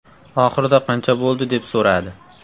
Oxirida qancha bo‘ldi deb so‘radi.